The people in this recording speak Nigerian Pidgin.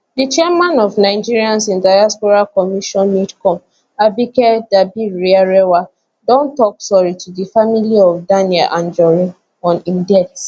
di chairman of nigerians in diaspora commission nidcom abike dabirierewa don tok sorry to di family of daniel anjorin on im death